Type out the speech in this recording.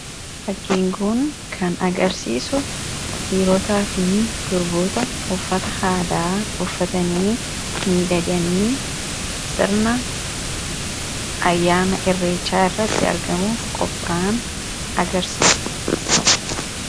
fakkiin kun kan agarsiisu dhiiirootaa fi durboota uffata aadaa uffatanii miidhaganii sirna ayyaana irreechaa irratti argamuuf qopha'an agarsiisa.